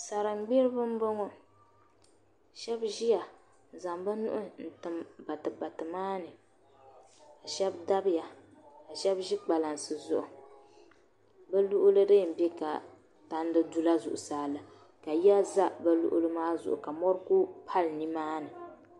salingburiba m-bɔŋɔ sh;ba ʒia n-zaŋ bɛ nuhi n-tim batibati maa ni ka shɛba dabiya ka shɛba ʒi kpalansi zuɣu bɛ luɣili di yɛn be ka palli dula zuɣusaa la ka yiya za bɛ luɣili maa zuɣu ka mɔri kuli pali ni maani